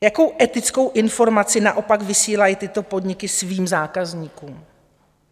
Jakou etickou informaci naopak vysílají tyto podniky svým zákazníkům?